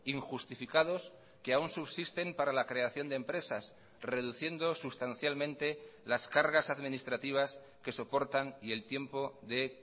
injustificados que aún subsisten para la creación de empresas reduciendo sustancialmente las cargas administrativas que soportan y el tiempo de